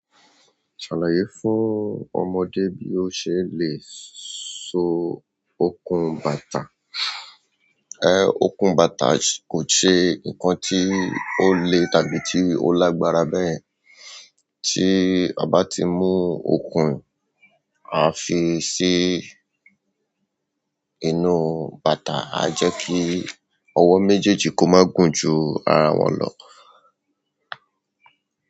Àlàyé fún ọmọdé bí ó ṣe le so okùn bàtà. Eh okùn bàtà kò ṣe ǹkan tí ó le tàbí tí ó lágbára bẹ́yẹ̀n. Tí a bá ti mú okùn a fi sí inú bàtà, a jẹ́ kí ọwọ́ méjèèjì kó má gùn ju ara wọn lọ.